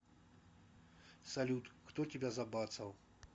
салют кто тебя забацал